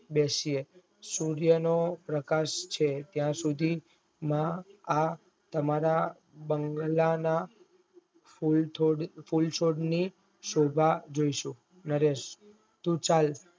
બેસીએ સુરિયા નો પ્રકાશ છે ત્યાં સુધી માં આ તમારા બંગલા માં પ્રકાશ જોઇશે નરેશ તું ચલ